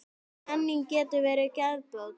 Menning getur verið geðbót.